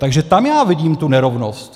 Takže tam já vidím tu nerovnost.